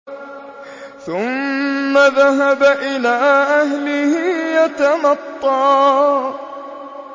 ثُمَّ ذَهَبَ إِلَىٰ أَهْلِهِ يَتَمَطَّىٰ